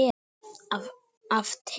Af teig